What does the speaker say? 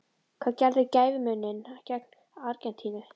Hvað gerði gæfumuninn gegn Argentínu?